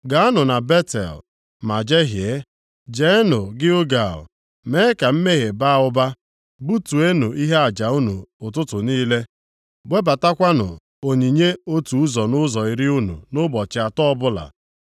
“Gaanụ na Betel, ma jehie. Jeenụ Gilgal mee ka mmehie baa ụba. Butenụ ihe aja unu ụtụtụ niile. Webatakwanụ onyinye otu ụzọ nʼụzọ iri unu nʼụbọchị atọ + 4:4 Maọbụ, nʼafọ atọ ọbụla.